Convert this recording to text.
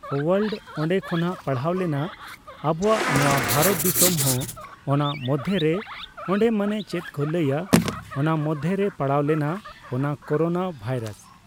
world ᱚᱸᱰᱮ ᱠᱷᱚᱱᱟᱜ ᱯᱟᱲᱦᱟᱣ ᱞᱮᱱᱟ ᱟᱵᱚᱣᱟᱜ ᱱᱚᱣᱟ ᱵᱷᱟᱨᱚᱛ ᱫᱤᱥᱚᱢ ᱦᱚᱸ ᱚᱱᱟ ᱢᱚᱫᱽᱫᱷᱮ ᱨᱮ ᱚᱸᱰᱮ ᱢᱟᱱᱮ ᱪᱮᱫ ᱠᱚ ᱞᱟᱹᱭᱟ ᱚᱱᱟ ᱢᱚᱽᱫᱷᱮ ᱨᱮ ᱯᱟᱲᱟᱣ ᱞᱮᱱᱟ ᱚᱱᱟ ᱠᱳᱨᱳᱱᱟ ᱵᱷᱟᱭᱨᱟᱥ